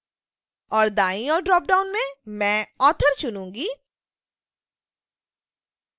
और दाईं ओर ड्रॉपडाउन में मैं author चुनूँगी